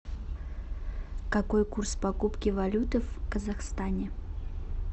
какой курс покупки валюты в казахстане